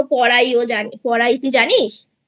পড়াইও পড়াই তুই জানিস?